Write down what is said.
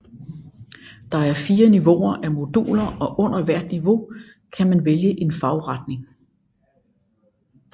Der er 4 niveauer af moduler og under hvert niveau kan man vælge en fagretning